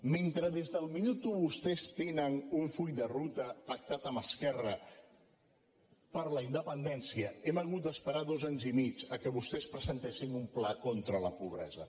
mentre des del minut u vostès tenen un full de ruta pactat amb esquerra per la independència hem hagut d’esperar dos anys i mig perquè vostès presentessin un pla contra la pobresa